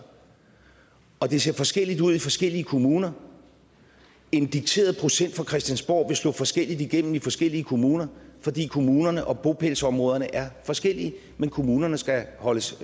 og det ser forskelligt ud i forskellige kommuner en dikteret procent fra christiansborgs slå forskelligt igennem i forskellige kommuner fordi kommunerne og bopælsområderne er forskellige men kommunerne skal holdes